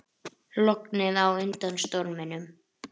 Lognið á undan storminum